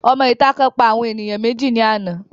Òmọ ìta kan pa àwọn ènìyàn méjì ní àná